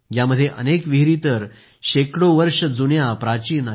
यामध्ये अनेक विहिरी तर शेकडो वर्षे जुन्या प्राचीन आहेत